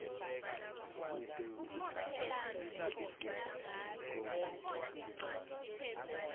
kute udlale kumele ufundze sikolo kucala